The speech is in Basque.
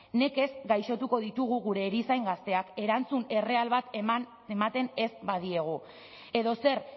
nekez gaixotuko ditugu gure erizain gazteak erantzun erreal bat ematen ez badiogu edo zer